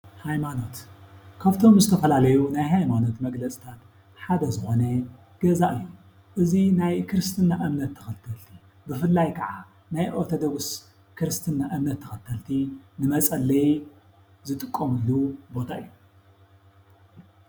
ሃይማኖት፡ ካብ ዝተፈላለዩ ናይ ሃይማኖት መግለፂታት ሓደ ዝኾነ ገዛ እዩ፡፡ እዚ ናይ ኦርቶዶክስ እምነት ተኸተልቲ ብፍላይ ከዓ ናይ ኦርቶዶክስ ክርስትና እምነት ተኸልቲ ንመፀለዪ ዝጥቀምሉ ቦታ እዩ፡፡